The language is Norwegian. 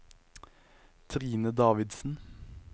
Trine Davidsen